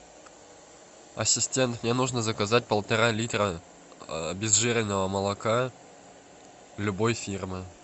ассистент мне нужно заказать полтора литра обезжиренного молока любой фирмы